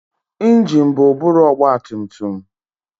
Ingine bụ ụbụrụ ọgbatumtum.